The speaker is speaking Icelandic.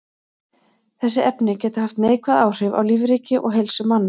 Þessi efni geta haft neikvæð áhrif á lífríki og heilsu manna.